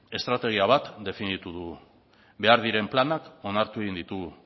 estrategia bat definitu dugu behar diren planak onartu egin ditugu